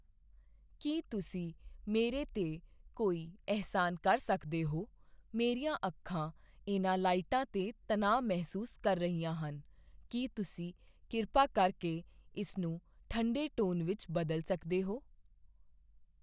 ਕੀ ਤੁਸੀਂ ਮੇਰੇ 'ਤੇ ਕੋਈ ਅਹਿਸਾਨ ਕਰ ਸਕਦੇ ਹੋ, ਮੇਰੀਆਂ ਅੱਖਾਂ ਇਹਨਾਂ ਲਾਈਟਾਂ 'ਤੇ ਤਣਾਅ ਮਹਿਸੂਸ ਕਰ ਰਹੀਆਂ ਹਨ, ਕੀ ਤੁਸੀਂ ਕਿਰਪਾ ਕਰਕੇ ਇਸਨੂੰ ਠੰਢੇ ਟੋਨ ਵਿੱਚ ਬਦਲ ਸਕਦੇ ਹੋ